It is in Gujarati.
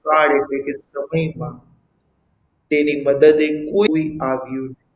કાળ એટલે કે સમયમાં તેની મદદે કોઈ આવ્યું નહીં.